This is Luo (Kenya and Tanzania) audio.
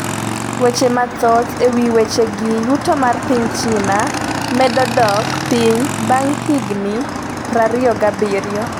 Weche mathoth e wi wechegi yuto mar piny China medo dok piny bang' higni 27